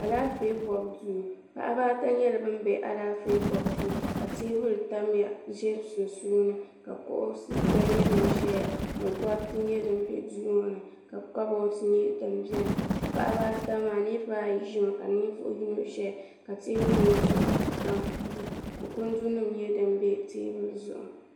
Alaafee bobu duu paɣaba ata nyɛla bin bɛ Alaafee bobu duu ka teebuli tamya ʒɛ sunsuuni ka kuɣusi gba nyɛ din ʒɛya ni gariti nyɛ din bɛ duu ŋɔ ni ka kaboods nyɛ din ʒɛya ka paɣaba ata maa niraba ayi ʒimi ka yino ʒɛya ka teebuli ŋɔ zuɣu kundu nim nyɛ din bɛ teebuli zuɣu